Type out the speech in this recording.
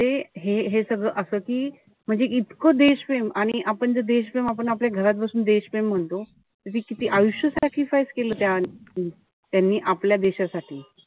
हे हे सगळं असं कि म्हणजे इतकं देशप्रेम. आणि आपण जर देशप्रेम आपल्या घरापासून देशप्रेम म्हणतो. किती आयुष्य sacrifice केलं त्या त्यांनी आपल्या देशासाठी.